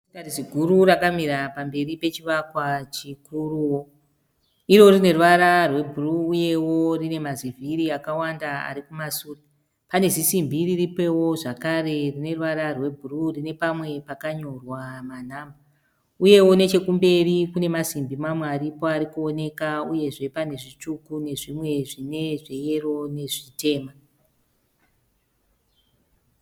Zimotokari ziguru rakamira pamberi pechivakwa chikuruwo. Iro rine ruvara rwebhuruu uyewo rine mazivhiri akawanda ari kumasure. Pane zisimbi riripowo zvakare rine ruvara rwebhuruu rine pamwe pakanyorwa manhamba. Uyewo nechekumberi kune masimbi mamwe ariko ari kuoneka uyezve pane zvitsvuku nezvimwe zvine zveyero nezvitema.